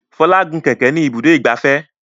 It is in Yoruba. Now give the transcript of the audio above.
Fola gún kẹ̀kẹ́ ní Ibùdó ìgbafẹ́.